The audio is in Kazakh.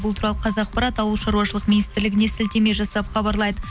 бұл қазақпарат ауылшаруашылық министрлігіне сілтеме жасап хабарлайды